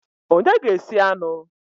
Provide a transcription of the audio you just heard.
Onye ga-esi anụ?